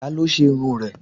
Ta ló ṣe irun rẹ̀?